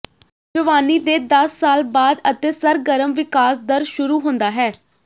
ਜਵਾਨੀ ਦੇ ਦਸ ਸਾਲ ਬਾਅਦ ਅਤੇ ਸਰਗਰਮ ਵਿਕਾਸ ਦਰ ਸ਼ੁਰੂ ਹੁੰਦਾ ਹੈ